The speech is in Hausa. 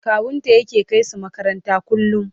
kawunta yake kaisu makaranta kullum